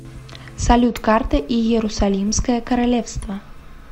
салют карта иерусалимское королевство